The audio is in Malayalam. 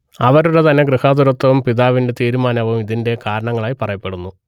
അവരുടെ തന്നെ ഗൃഹാതുരത്വവും പിതാവിന്റെ തീരുമാനവും ഇതിന്റെ കാരണങ്ങളായി പറയപ്പെടുന്നു